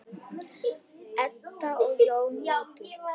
Edda og Jón Ingi.